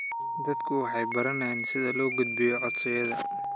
Dadku waxay baranayaan sida loo gudbiyo codsiyada.